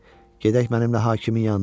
Gedək mənimlə hakimin yanına.